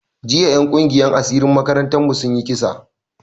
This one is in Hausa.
Jiya en kungiyan asirin makarantan mu sun yi kisa